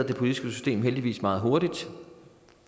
politiske system heldigvis reagerede meget hurtigt